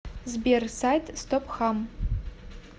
сбер сайт стопхам